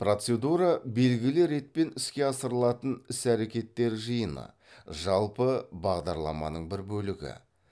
процедура белгілі ретпен іске асырылатын іс әрекеттер жиыны жалпы бағдарламаның бір бөлігі